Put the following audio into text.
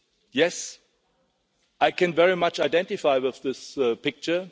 Yes, I can very much identify with this picture.